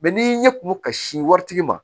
ni ɲɛkumu ka sin wari tigi ma